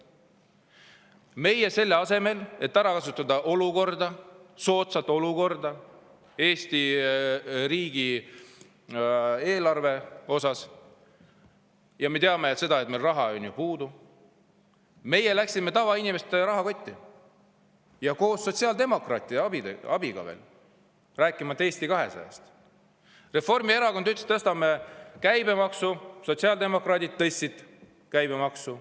Meie, selle asemel, et ära kasutada soodsat olukorda Eesti riigieelarve jaoks – me teame ka seda, et meil on ju raha puudu –, läksime tavainimeste rahakoti kallale, sotsiaaldemokraatide abiga veel, rääkimata Eesti 200‑st. Reformierakond ütles, et tõstame käibemaksu, ja sotsiaaldemokraadid tõstsid käibemaksu.